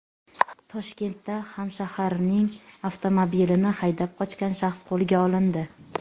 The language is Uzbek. Toshkentda hamshaharining avtomobilini haydab qochgan shaxs qo‘lga olindi.